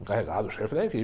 Encarregado, o chefe da equipe.